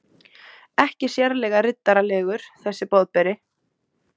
Ekki sérlega riddaralegur, þessi Boðberi.